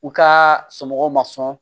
U ka somɔgɔw ma sɔn